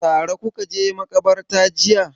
Tare kuka je maƙabarta jiya.